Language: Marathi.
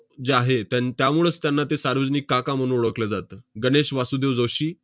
जे आहे त्यां~ त्यामुळंच त्यांना ते 'सार्वजनिक काका' म्हणून ओळखलं जातं. गणेश वासुदेव जोशी